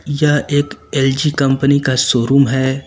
यह एक LG company का शोरूम है।